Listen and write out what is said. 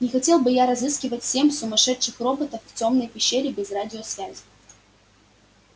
не хотел бы я разыскивать семь сумасшедших роботов в тёмной пещере без радиосвязи